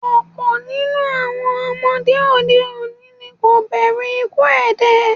Ọ̀pọ̀ ninu awọn ọmọde òde òní ni kò bẹ̀rù ikuú èdè